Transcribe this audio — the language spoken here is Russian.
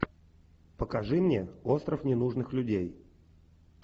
покажи мне остров ненужных людей